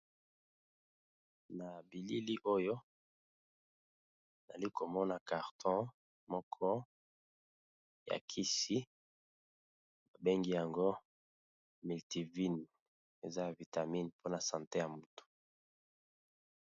Na bilili oyo nali komona carton moko ya kisi babengi yango miltivine eza a vitamine mpona sante ya mutu.